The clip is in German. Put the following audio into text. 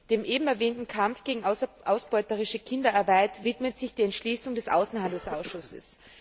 Dem eben erwähnten Kampf gegen ausbeuterische Kinderarbeit widmet sich die Entschließung des Außenhandelsausschusses.